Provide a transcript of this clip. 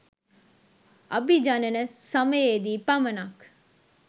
අභිජනන සමයේදී පමණක්